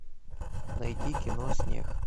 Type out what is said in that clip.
найти кино снег